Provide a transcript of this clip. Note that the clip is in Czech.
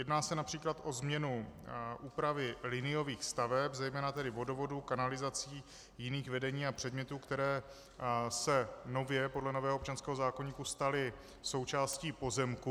Jedná se například o změnu úpravy liniových staveb, zejména tedy vodovodů, kanalizací, jiných vedení a předmětů, které se nově podle nového občanského zákoníku staly součástí pozemku.